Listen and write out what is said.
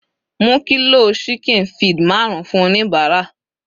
Mú kilo ṣíkìn feed marun fún oníbàárà.